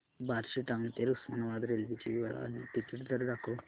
Barshi town ते Osmanabad railway ची वेळ आणि तिकीट दर दाखव